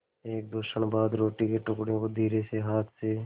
एकदो क्षण बाद रोटी के टुकड़े को धीरेसे हाथ से